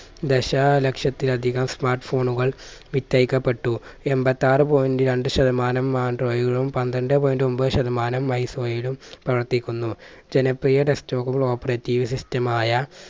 ദശലക്ഷത്തിൽ അധികം smart phone കൾ വിറ്റഴിക്കപ്പെട്ടു. എമ്പത്താറ് point രണ്ട്‌ ശതമാനം android ലും പന്ത്രണ്ട് point ഒമ്പത് ശതമാനം ലും പ്രവർത്തിക്കുന്നു. ജനപ്രിയ desktop operative system മായ